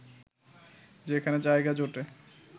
যেখানে জায়গা জোটে